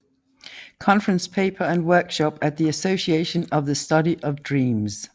Conference paper and workshop at The Association for the Study of Dreams